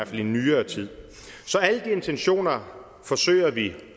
i nyere tid så alle de intentioner forsøger vi